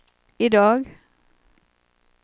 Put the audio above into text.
idag